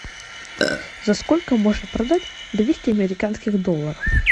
за сколько можно продать двести американских долларов